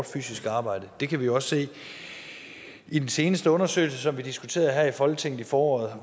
fysisk arbejde det kan vi også se i den seneste undersøgelse som vi diskuterede her i folketinget i foråret